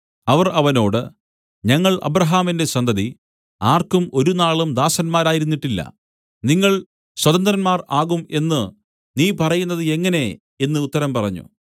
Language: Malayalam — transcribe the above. അവർ അവനോട് ഞങ്ങൾ അബ്രാഹാമിന്റെ സന്തതി ആർക്കും ഒരുനാളും ദാസന്മാരായിരുന്നിട്ടില്ല നിങ്ങൾ സ്വതന്ത്രന്മാർ ആകും എന്നു നീ പറയുന്നത് എങ്ങനെ എന്നു ഉത്തരം പറഞ്ഞു